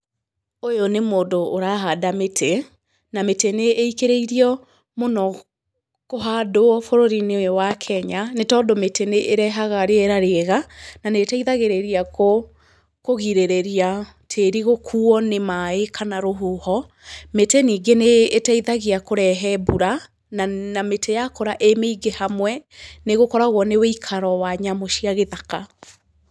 Ũyũ nĩ mũndũ ũrahanda mĩtĩ, na mĩtĩ nĩ ĩikĩrĩirio mũno kũhandwo bũrũri-inĩ ũyũ wa Kenya, nĩ tondũ mĩtĩ nĩ ĩrehaga rĩera rĩega, na nĩ ĩteithagĩrĩria kũgirĩrĩra tĩrĩ gũkuuo nĩ maaĩ kana rũhuho. Mĩtĩ ningĩ nĩ ĩteithagia kũrehe mbura, na mĩtĩ yakura ĩ mĩingĩ hamwe nĩ gũkoragwo nĩ wĩikaro wa nyamu cia gĩthaka.